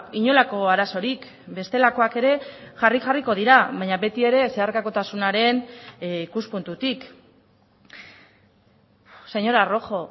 inolako arazorik bestelakoak ere jarri jarriko dira baina beti ere zeharkakotasunaren ikuspuntutik señora rojo